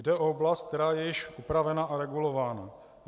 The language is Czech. Jde o oblast, která je již upravena a regulována.